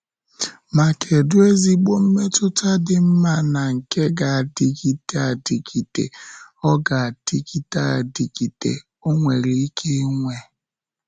Ma kedu ezigbo mmetụta dị mma na nke ga-adịgide adịgide ọ ga-adịgide adịgide ọ nwere ike inwe!